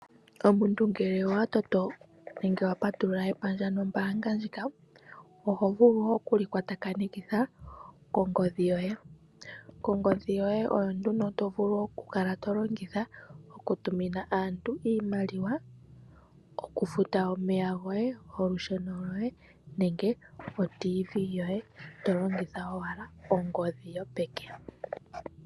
Omuntu ngele owatoto nenge wapatulula panda nombaanga ndjika, oho vulu okulikwatakanitha nongodhi yoye. Ongodhi yoye oyo nduno tokala tolongitha okutumina aantu iimaliwa okufuta omeya goye olusheno nenge oTV goye tolongitha owala ongodhi yopeke.